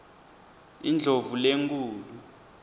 indlovulenkhulu